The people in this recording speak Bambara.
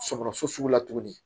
Sɔgɔsɔgɔ sugu la tuguni